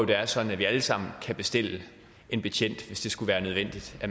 det er sådan at vi alle sammen kan bestille en betjent hvis det skulle være nødvendigt at